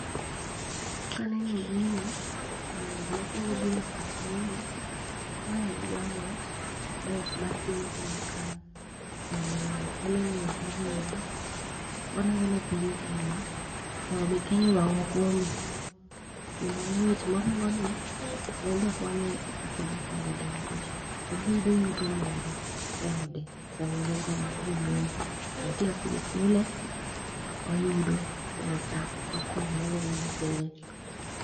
Kaneno gini, to gimakwongo bire pacha en ni ma en jang'wech mae mar piny Kenya kae. Kendo en eng'wech oringo, oringo ne piny Kenya, mondo mi kenya onwang' okombe. Kendo ng'wech moringo ni enbe konye kakodak e ode nikech oboyudo yuto moro e ode samoringo no moyombo. To nitie kakidhi chule, to oyudo pesa mokonyore go gi nyithinde.